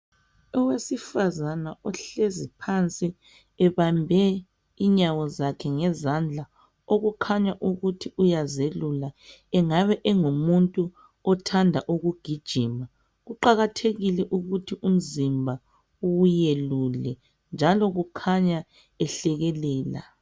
Owesifazana ohlezinphansi ebambe inyawo zakhe ngezandla okukhanya ukuthi uyazelula engabe engumuntu othanda ukugijima kuqakathekile ukuthi umzimba uwelule njalo kukhanya ehlekelela.